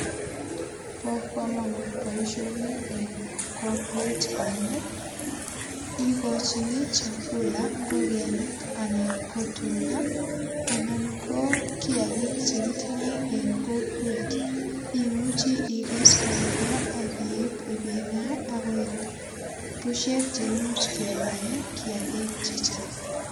Bo kamanut boisioni en kokwet amu igochini chakula ingogenik anan ko tuga, anan ko kiagik che gitinye en kokwet. Imuchi iges koroiyo ak kiip ipingaa ak koek pushek che imuch kepaen kiagik che chang.